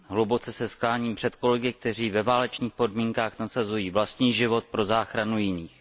Hluboce se skláním před kolegy, kteří ve válečných podmínkách nasazují vlastní život pro záchranu jiných.